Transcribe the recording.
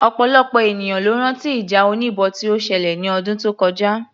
Ọ̀pọ̀lọpọ̀ ènìyàn ló rán tí ìjà oníbọn tí ó ṣẹlẹ̀ ní ọdún tó kọjá